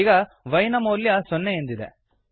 ಈಗ y ನ ಮೌಲ್ಯ ಸೊನ್ನೆ ಎಂದಿದೆ